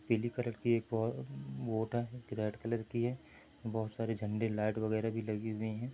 पीली कलर की एक बोट आ है रेड कलर की है बोहोत सारे झंडे लाइट वागेरा भी लगे हुए है।